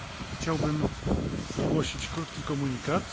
chciałbym ogłosić krótki komunikat.